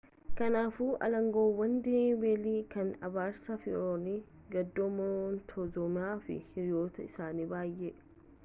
kanaafuu alangeewwan delhii beelii kan abaarsa fara'oon gadoo monteezuumaa fi hiriyoota isaanii baay'ee